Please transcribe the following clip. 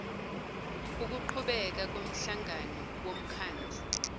ukuqhubeka komhlangano womkhandlu